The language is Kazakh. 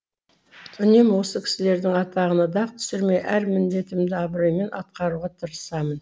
үнемі осы кісілердің атағына дақ түсірмей әр міндетімді абыроймен атқаруға тырысамын